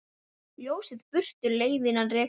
Ljósið burtu leiðann rekur.